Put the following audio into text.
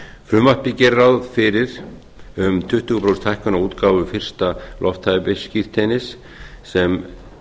frumvarpið gerir ráð fyrir um tuttugu prósenta hækkun á útgáfu fyrsta lofthæfisskírteinis sem